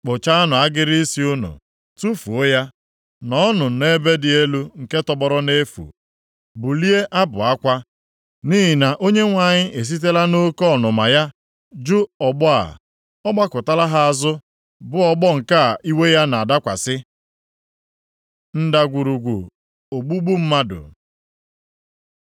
“ ‘Kpụchaanụ agịrị isi unu, tufuo ya, nọọnụ nʼebe dị elu nke tọgbọrọ nʼefu bulie abụ akwa, nʼihi na Onyenwe anyị esitela nʼoke ọnụma ya jụ ọgbọ a. Ọ gbakụtala ha azụ bụ ọgbọ nke a iwe ya na-adakwasị. Ndagwurugwu ogbugbu mmadụ